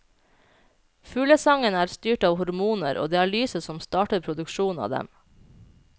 Fuglesangen er styrt av hormoner, og det er lyset som starter produksjonen av dem.